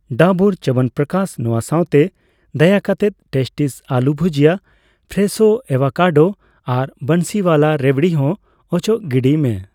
ᱰᱟᱵᱩᱨ ᱪᱟᱵᱚᱱᱯᱨᱚᱠᱟᱥ ᱱᱚᱣᱟ ᱥᱟᱣᱛᱮ, ᱫᱟᱭᱟᱠᱟᱛᱮ ᱴᱮᱥᱴᱤᱥ ᱟᱞᱩ ᱵᱷᱩᱡᱤᱭᱟ, ᱯᱷᱨᱮᱥᱷᱳ ᱮᱵᱷᱳᱜᱟᱰᱰᱳ ᱟᱨ ᱵᱟᱱᱥᱤᱣᱟᱞᱟ ᱨᱮᱵᱷᱫᱤ ᱦᱚᱸ ᱚᱪᱚᱜ ᱜᱤᱰᱤᱭ ᱢᱮ ᱾